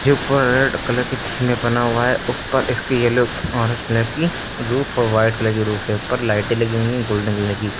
ये ऊपर red colour की थीम में बना हुआ है। ऊपर इसकी येलो उसमें की रूफ और व्हाइट कलर की रूफ है। ऊपर लाइटें लगी हुई हैं गोल्डन कलर की।